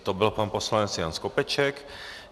To byl pan poslanec Jan Skopeček.